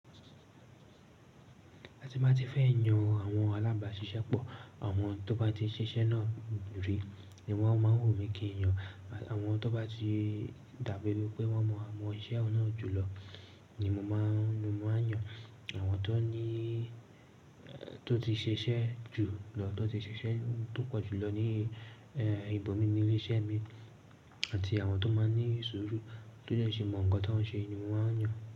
Àti bá ti fẹ́ yan àwọn alábáṣiṣẹ́ pọ̀, àwọn tó bá ti ṣiṣẹ́ náà rí ni wọ́n máa ń wù mí kí n yan. Àwọn tó bá ti dàbi ẹ̣nipé wọ́n maa mọ iṣẹ́ ọ̀un nà jùlọ ni mo máa ń, ni mo máa ń yan. Àwọn tó níí, tó ti ṣe iṣẹ́ jùlọ, tó ti ṣe iṣẹ́ tó pọ̀ jùlọ ní ì, ẹ́, ibòmíní ilé-iṣẹ́ mi àti àwọn tó máa ń ní ṣuuru, tó dẹ́ ṣì mọ̀ ńǹkan tó ń ṣe ni wọ́n á yan.